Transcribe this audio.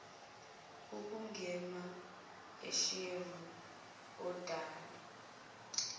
ukungenwa ushevu odalwa